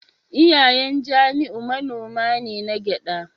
Iyayen Jamiu manoma ne na gyada